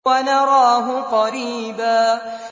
وَنَرَاهُ قَرِيبًا